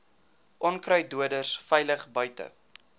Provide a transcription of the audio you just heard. onkruiddoders veilig buite